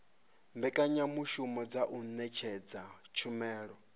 mbekanyamushumo dza u ṅetshedza tshumelo